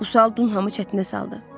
Bu sual Dunhamı çətinə saldı.